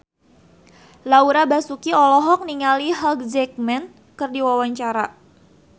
Laura Basuki olohok ningali Hugh Jackman keur diwawancara